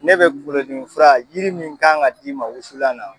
Ne bɛ kungolo dimi fura yiri min kan ka d'i ma wusulan na.